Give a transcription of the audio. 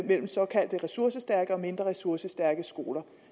mellem såkaldte ressourcestærke og mindre ressourcestærke skoler